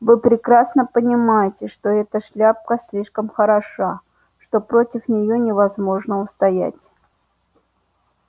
вы прекрасно понимаете что эта шляпка слишком хороша что против неё невозможно устоять